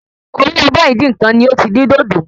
Orí abọ́ Ìdínkan ni o tí dín dòdò